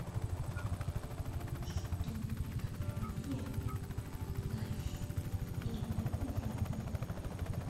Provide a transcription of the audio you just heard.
что такое плащ и его виды